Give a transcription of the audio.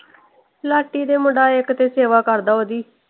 ਲਾਟੀ ਦੇ ਮੁੰਡਾ ਇਕ ਤੇ ਸੇਵਾ ਕਰਦਾ ਓਹਦੀ।